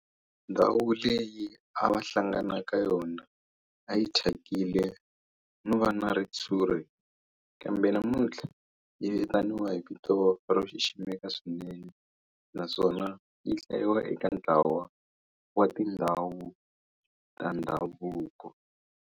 Ndhawu leyi a va hlangana ka yona a yi thyakile no va na ritshuri kambe namuntlha yi vitaniwa hi vito ro xiximeka swinene naswona yi hlayiwa eka ntlawa wa tindhawu ta ndhavuko.